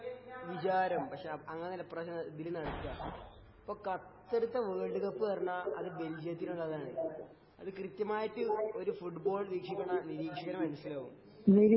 വിചാരം പക്ഷേ അങ്ങനെ അല്ല ഈപ്രാവശ്യം ഇതില് നടക്കാ ഇപ്പോ ഖത്തറിത്തെ വേൾഡ് കപ്പ് എന്ന് പറഞ്ഞാ അത് ബെൽജിയത്തിനുള്ളതാണ് . അത് കൃത്യമായിട്ട് ഒരു ഫുട്ബോൾ വീക്ഷികെണ നിരീക്ഷികണ മനസ്സിലാകും